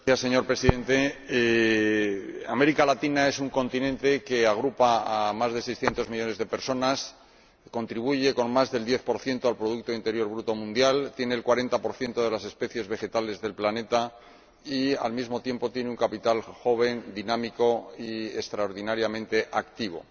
Señor Presidente, América Latina es un continente que agrupa a más de 600 millones de personas y contribuye con más del 10 al Producto Interior Bruto mundial, tiene el 40 de las especies vegetales del planeta y, al mismo tiempo, tiene un capital joven, dinámico y extraordinariamente activo.